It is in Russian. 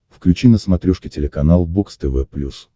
включи на смотрешке телеканал бокс тв плюс